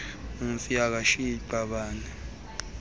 umfi akashiyi qabane